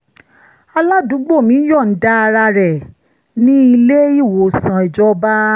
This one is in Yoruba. aládùúgbò mi ń yọ̀ǹda ara rẹ̀ ní ilé-ìwòsàn ìjọba